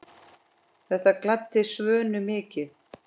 Þetta gladdi Svönu mikið.